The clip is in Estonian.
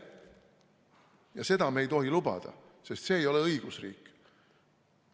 Ja seda me ei tohi lubada, sest see ei ole õigusriik.